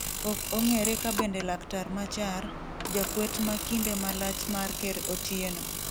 ok ong'ere ka bende laktar Machar ,jakwet ma kinde malach mar ker Otieno